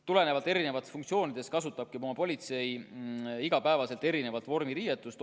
Tulenevalt erinevatest funktsioonidest kasutabki politsei iga päev erinevat vormiriietust.